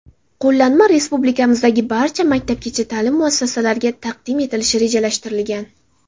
Qo‘llanma respublikamizdagi barcha maktabgacha ta’lim muassasalariga taqdim etilishi rejalashtirilgan.